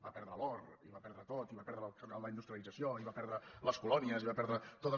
va perdre l’or i ho va perdre tot i va perdre la industrialització i va perdre les colònies i va perdre totes